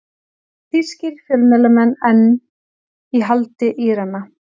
Þýskir fjölmiðlamenn enn í haldi Írana